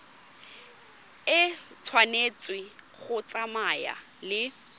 e tshwanetse go tsamaya le